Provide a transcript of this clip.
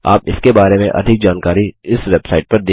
आप इस के बारे में अधिक जानकारी इस वेबसाइट पर देख सकते हैं